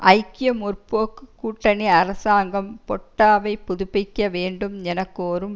ஐக்கிய முற்போக்கு கூட்டணி அரசாங்கம் பொட்டாவை புதுப்பிக்க வேண்டும் என கோரும்